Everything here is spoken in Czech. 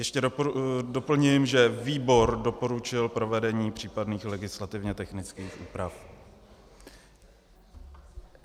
Ještě doplním, že výbor doporučil provedení případných legislativně technických úprav.